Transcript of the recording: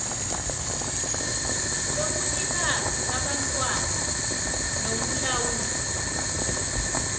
lobunikazi babantwana nokulawulwa